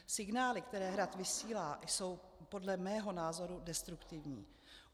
Signály, které Hrad vysílá, jsou podle mého názoru destruktivní.